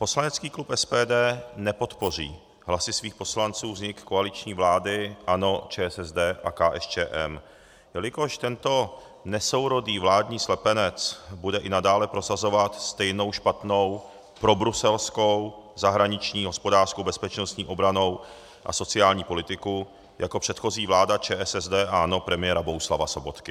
Poslanecký klub SPD nepodpoří hlasy svých poslanců vznik koaliční vlády ANO, ČSSD a KSČM, jelikož tento nesourodý vládní slepenec bude i nadále prosazovat stejnou špatnou probruselskou, zahraniční, hospodářskou, bezpečnostní, obrannou a sociální politiku jako předchozí vláda ČSSD a ANO premiéra Bohuslava Sobotky.